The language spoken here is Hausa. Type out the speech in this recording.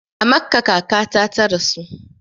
A Makkah kakata ta rasu